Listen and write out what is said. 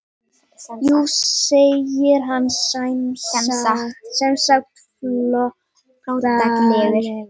Jú segir hann semsagt flóttalegur.